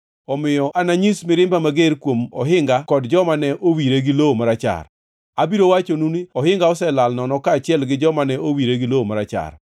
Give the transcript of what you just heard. Omiyo ananyis mirimba mager kuom ohinga kod joma ne owire gi lowo marachar. Abiro wachonu ni, “Ohinga oselal nono kaachiel gi jomane owire gi lowo marachar,